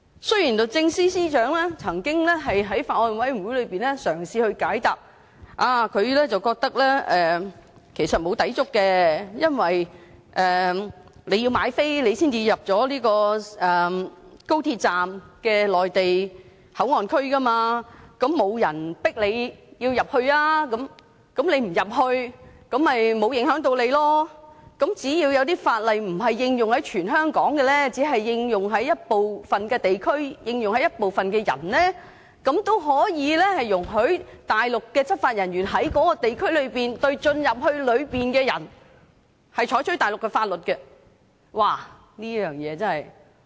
雖然律政司司長曾在法案委員會會議席上嘗試解答，認為其實沒有抵觸，因為你要購票才能進入高鐵站的內地口岸區，並沒有人強迫你進入，如果你不進入，便不會影響你，只要有某些法例不應用於全港，而只應用於部分地區及部分人，那也可以容許大陸執法人員在該地區內對進入裏面的人實施內地法律。